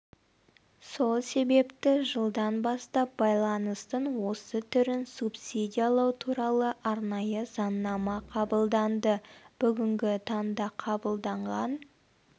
сол себепті жылдан бастап байланыстың осы түрін субсидиялау туралы арнайы заңнама қабылданды бүгінгі таңда қабылданған